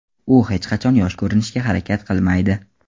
U hech qachon yosh ko‘rinishga harakat qilmaydi.